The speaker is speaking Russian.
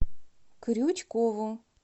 крючкову